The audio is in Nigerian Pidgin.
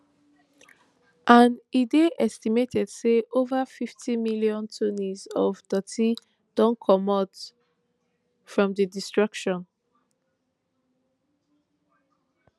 and e dey estimated say ova fifty million tonnes of doti don comot from di destruction